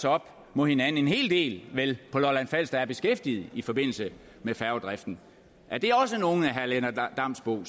op mod hinanden en hel del på lolland falster der er beskæftiget i forbindelse med færgedriften er det også nogle af herre lennart damsbo